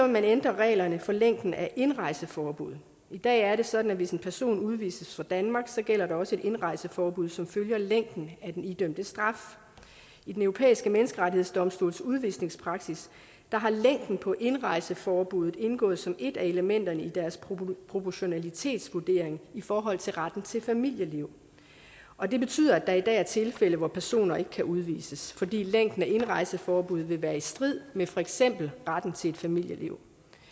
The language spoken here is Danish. man ændre reglerne for længden af indrejseforbuddet i dag er det sådan at hvis en person udvises fra danmark så gælder der også et indrejseforbud som følger længden af den idømte straf i den europæiske menneskerettighedsdomstols udvisningspraksis har længden på indrejseforbuddet indgået som et af elementerne i deres proportionalitetsvurdering i forhold til retten til et familieliv og det betyder at der i dag er tilfælde hvor personer ikke kan udvises fordi længden af indrejseforbuddet vil være i strid med for eksempel retten til et familieliv